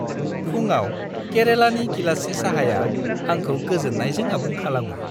फुंआव केरेलानि गिलाससे साहाया आंखौ गोजोननायजों आबुं खालामो।